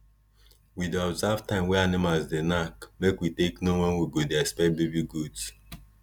we dey observe time wey animals dey knack make we take know wen we go dey expect baby goat